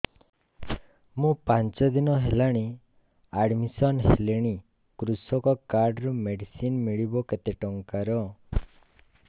ମୁ ପାଞ୍ଚ ଦିନ ହେଲାଣି ଆଡ୍ମିଶନ ହେଲିଣି କୃଷକ କାର୍ଡ ରୁ ମେଡିସିନ ମିଳିବ କେତେ ଟଙ୍କାର